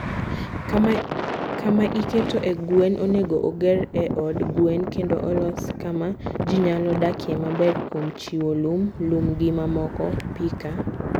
Kama iketoe gwen onego oger e i od gwen kendo olos kama ji nyalo dakie maber kuom chiwo lum, lum, gi mamoko. Pica